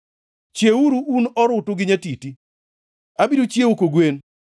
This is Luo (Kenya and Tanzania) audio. Chiewuru, un orutu gi nyatiti! Abiro chiewo kogwen.